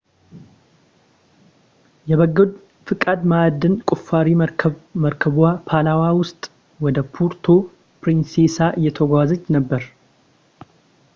የበጎ ፈቃድ ማዕድን ቁፋሮ መርከብ መርከቧ ፓላዋ ውስጥ ወደ ፑርቶ ፕሪንሴሳ እየተጓዘች ነበር